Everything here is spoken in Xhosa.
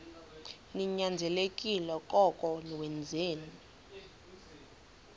ninyanzelekile koko wenzeni